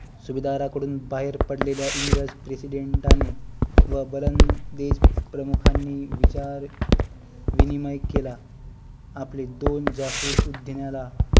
सुभेदरा कडून बाहेर पडलेल्या इंग्रज प्रेसिडेंटानी व वलंदेज प्रमुखांनी विचार विनिमय केला आपले दोन जासुस उधान्याला